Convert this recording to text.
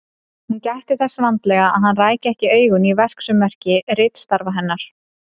Hún gætti þess vandlega að hann ræki ekki augun í verksummerki ritstarfa hennar.